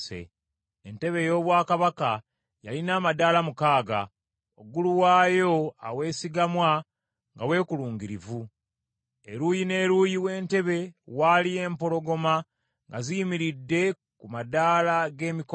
Entebe ey’obwakabaka yalina amadaala mukaaga, waggulu waayo aweesigamwa nga weekulungirivu. Eruuyi n’eruuyi w’entebe waaliyo empologoma nga ziyimiridde ku mabbali g’emikono.